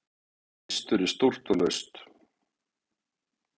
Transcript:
hreistur er stórt og laust